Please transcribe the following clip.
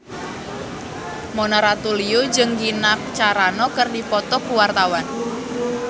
Mona Ratuliu jeung Gina Carano keur dipoto ku wartawan